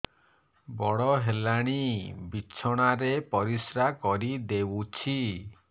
ବଡ଼ ହେଲାଣି ବିଛଣା ରେ ପରିସ୍ରା କରିଦେଉଛି